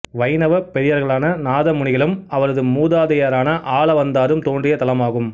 வைணவப் பெரியார்களான நாதமுனிகளும் அவரது மூதாதையரான ஆளவந்தாரும் தோன்றிய தலமாகும்